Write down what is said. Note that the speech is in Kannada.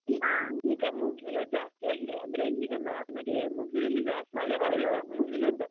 ಈಗ ಮುಗಿಲು ಜಾಸ್ತಿ ಆಗಿದೆ ಅಂದ್ರೆ ಈಗ ಮುಗಿಲೆಲ್ಲ ಜಾಸ್ತಿಮಳೆ ಬರುದಿಲ್ಲ ಮುಗಿಲು ಅಂತ.